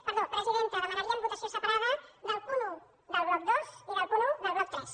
perdó presidenta demanaríem votació separada del punt un del bloc dos i del punt un del bloc tres